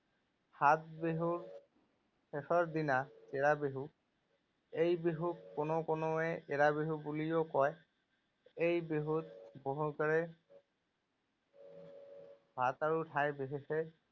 সাত বিহুৰ শেষৰ দিনা চেৰা বিহু। এই বিহুক কোনো কোনোৱে এৰা বিহু বুলিও কয়। এই বিহুত ঠাই বিশেষে